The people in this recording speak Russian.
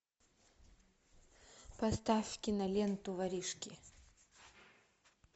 поставь киноленту воришки